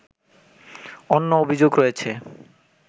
অন্য অভিযোগ রয়েছে